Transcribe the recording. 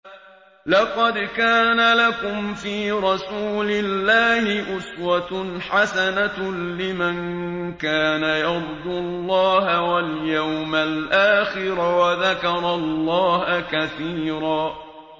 لَّقَدْ كَانَ لَكُمْ فِي رَسُولِ اللَّهِ أُسْوَةٌ حَسَنَةٌ لِّمَن كَانَ يَرْجُو اللَّهَ وَالْيَوْمَ الْآخِرَ وَذَكَرَ اللَّهَ كَثِيرًا